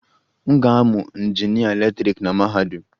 M ga-amụ injinịa eletrik na mahadum.